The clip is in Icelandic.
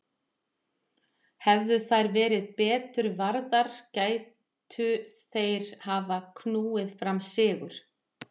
Hefðu þær verið betur varðar gætu þeir hafa knúið fram sigur.